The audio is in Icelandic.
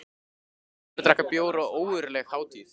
Þar voru allir að drekka bjór og ógurleg hátíð.